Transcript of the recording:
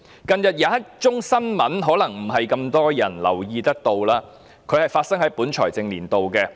近日有一宗新聞可能未必有太多人留意，這宗案件發生於本財政年度。